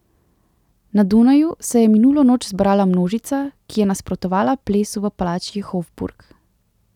Na Dunaju se je minulo noč zbrala množica, ki je nasprotovala plesu v palači Hofburg.